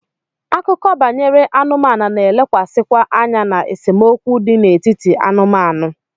Akụkọ banyere anụmanụ na-elekwasịkwa anya na esemokwu dị n'etiti anụmanụ.